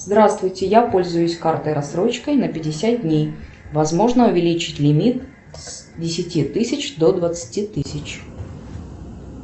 здравствуйте я пользуюсь картой рассрочкой на пятьдесят дней возможно увеличить лимит с десяти тысяч до двадцати тысяч